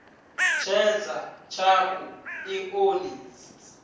tshedza tshaṋu i ḓo ni